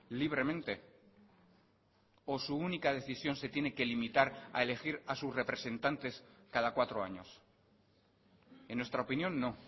libremente o su única decisión se tiene que limitar a elegir a sus representantes cada cuatro años en nuestra opinión no